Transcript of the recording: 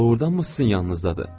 O doğurdanmı sizin yanınızdadır?